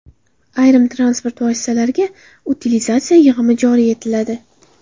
Ayrim transport vositalariga utilizatsiya yig‘imi joriy etiladi.